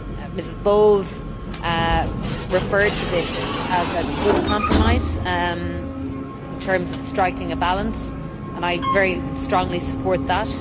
Ms Bowles referred to this as a good compromise in terms of striking a balance, and I very strongly support that.